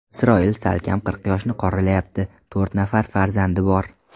Isroil salkam qirq yoshni qoralayapti, to‘rt nafar farzandi bor.